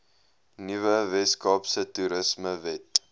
nuwe weskaapse toerismewet